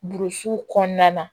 Burusi kɔnɔna na